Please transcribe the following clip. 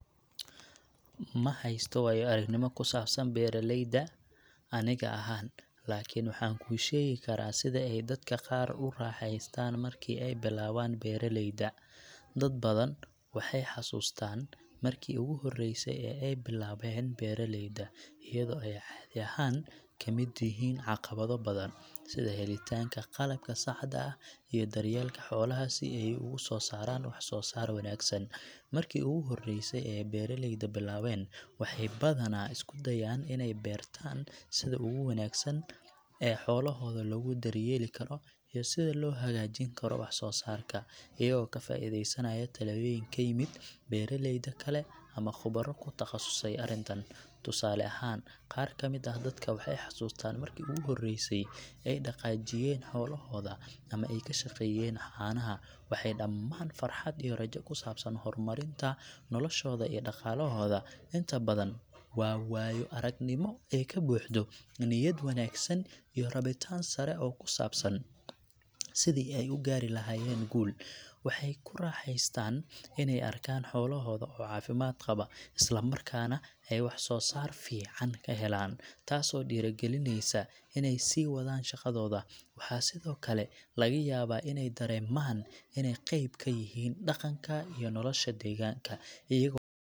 Ma haysto waayo-aragnimo ku saabsan beeraleyda aniga ahaan, laakiin waxaan kuu sheegi karaa sida ay dadka qaar u raaxaystaan markii ay bilaabaan beeraleyda . Dad badan waxay xusuustaan markii ugu horeysay ee ay bilaabeen beeraleyda, iyadoo ay caadi ahaan ka mid yihiin caqabado badan, sida helitaanka qalabka saxda ah iyo daryeelka xoolaha si ay ugu soo saaraan wax soo saar wanaagsan. Markii ugu horeysay ee beeraleyda bilaabeen, waxay badanaa isku dayaan inay bartaan sida ugu wanaagsan ee xoolahooda loogu daryeeli karo iyo sida loo hagaajin karo wax soo saarka, iyagoo ka faa’iideysanaya talooyin ka yimid beeraleyda kale ama khubaro ku takhasustay arrintan. Tusaale ahaan, qaar ka mid ah dadka waxay xusuustaan markii ugu horeysay ee ay dhaqaajiyeen xoolahooda ama ay ka shaqeeyeen caanaha, waxay dhamaan farxad iyo rajo ku saabsan horumarinta noloshooda iyo dhaqaalahooda. Inta badan waa waayo-aragnimo ay ka buuxdo niyad wanaagsan iyo rabitaan sare oo ku saabsan sidii ay u gaari lahaayeen guul. Waxay ku raaxaystaan inay arkaan xoolahooda oo caafimaad qaba, isla markaana ay wax soo saar fiican ka helaan, taasoo dhiiragalineysa inay sii wadaan shaqadooda. Waxaa sidoo kale laga yaabaa inay dareemaan inay qayb ka yihiin dhaqanka iyo nolosha deegaanka, iyagoo .